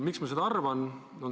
Miks ma seda arvan?